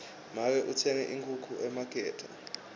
make utsenge inkhukhu emakethe